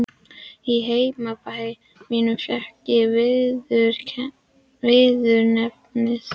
Í heimabæ mínum fékk ég viðurnefnið